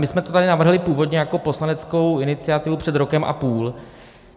My jsme to tady navrhli původně jako poslaneckou iniciativu před rokem a půl.